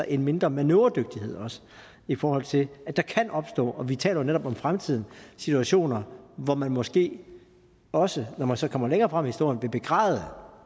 en mindre manøvredygtighed i forhold til at der kan opstå vi taler jo netop om fremtiden situationer hvor man måske også når man så kommer længere frem i historien vil begræde